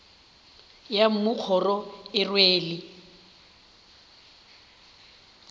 ya mmu kgoro e rwele